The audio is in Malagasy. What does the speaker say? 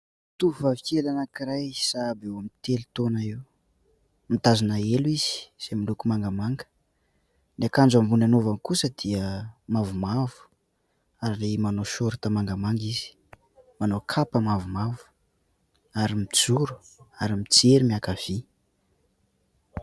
Tovovavy kely anankiray sahabo eo amin'ny telo taona eo, mitazona elo izy izay miloko mangamanga, ny akanjo ambony anaovany kosa dia mavomavo ary manao "short" mangamanga izy, manao kapa mavomavo ary mijoro ary mijery miankavia.